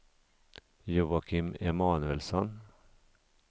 Joakim Emanuelsson